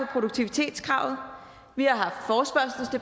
produktivitetskravet vi